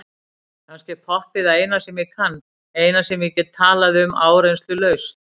Kannski er poppið það eina sem ég kann, eina sem ég get talað um áreynslulaust.